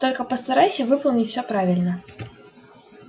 только постарайся выполнить всё правильно